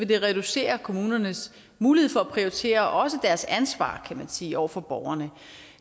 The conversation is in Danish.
det reducere kommunernes mulighed for at prioritere og også deres ansvar kan man sige over for borgerne